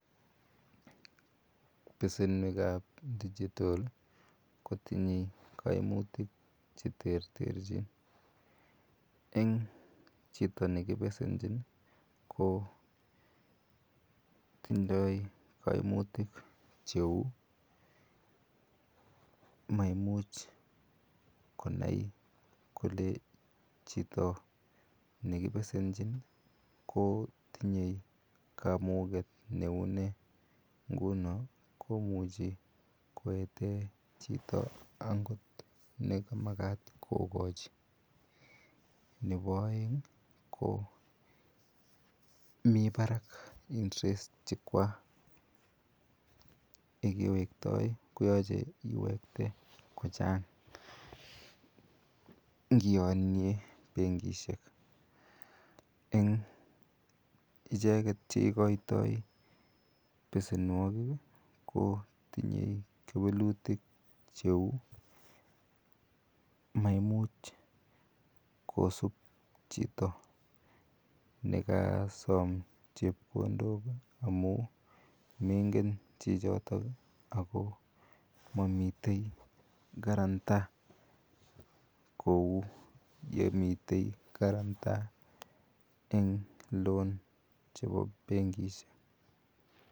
Besenikab digital kotinye kaimutik cheterterchin. En chito nekibesenchin ih ko tindoo kaimutik cheuu maimuch konai chito kole nekibesenchin kotinye kamuget neuune ngunon komuche koeten chito agot nekimagat kokachi nebo aeng ih ko mi barak interest chechuak, nebo aeng ih yekewektai koyache iwekte kochangingianien bengishek en echeket cheikoito besenuagig ih ko tinye kewelutik cheuu Mai much kosub chito megasom chebkondok ih amuun meingen chichiton Ako mamiten quaranta kouu yemiten karanta en loan chebo bengishek